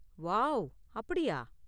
Wow, அப்படியா?